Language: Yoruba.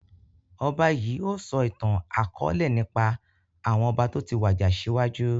Ọba yìí ó sọ ìtàn akọ̀ọ̀lẹ nípa àwọn ọba toti wàjà síwájú